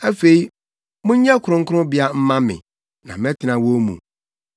“Afei monyɛ kronkronbea mma me, na mɛtena wɔn mu.